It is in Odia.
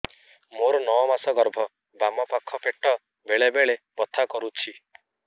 ମୋର ନଅ ମାସ ଗର୍ଭ ବାମ ପାଖ ପେଟ ବେଳେ ବେଳେ ବଥା କରୁଛି